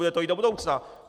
Bude to i do budoucna.